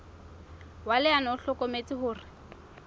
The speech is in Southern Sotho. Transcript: wa leano o hlokometse hore